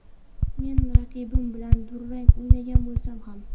Men raqibim bilan durang o‘ynagan bo‘lsam ham”.